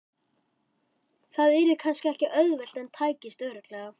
Það yrði kannski ekki auðvelt en tækist örugglega.